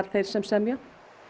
þeir sem semja